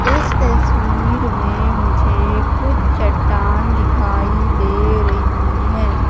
इस तस्वीर में मुझे कुछ चट्टान दिखाई दे रही है।